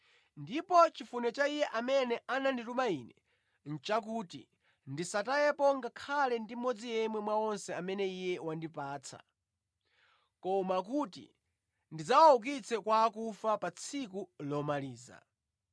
Ndipo chifuniro cha Iye amene anandituma Ine nʼchakuti ndisatayepo ngakhale ndi mmodzi yemwe mwa onse amene Iye wandipatsa, koma kuti ndidzawaukitse kwa akufa pa tsiku lomaliza.